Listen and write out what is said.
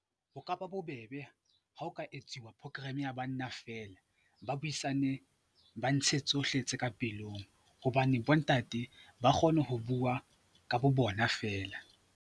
Ho ka ba bobebe ha ho ka etsuwa program ya banna feela, ba buisane ba ntshe tsohle tse ka pelong hobane bontate ba kgona ho bua ka bo bona feela.